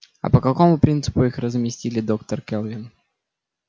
а по какому принципу их разместили доктор кэлвин